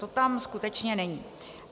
To tam skutečně není.